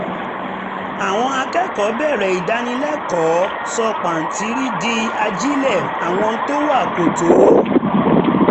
àwọn akẹ́kọ̀ọ́ bẹ̀rẹ̀ ìdánilẹ́kọ̀ọ́ sọ pàǹtírí di ajílẹ̀ àwọn tó wá kò tó